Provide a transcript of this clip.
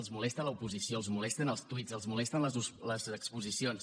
els molesta l’oposició els molesten els tuits els molesten les exposicions